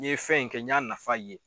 N ye fɛn in kɛ n y'a nafa ye.